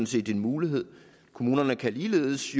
set en mulighed kommunerne kan ligeledes